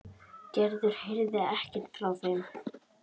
Gerður heyrir ekkert frá þeim.